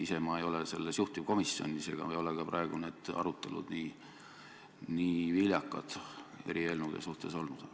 Ise ma ei ole selles juhtivkomisjonis ega ole ka praegu need arutelud nii viljakad eri eelnõude suhtes olnud.